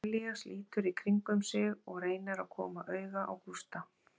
Elías lítur í kringum sig og reynir að koma auga á Gústa.